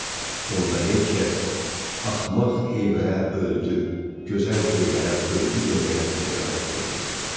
Onda heç kəs axmaq heyvərə öldü, gözəl heyvərə öldü deməyə cəsarət etməsin.